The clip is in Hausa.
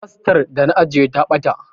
Tastar da na ajiye ta ɓata